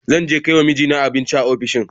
Zan je kai wa mijina abinci a ofishinsa.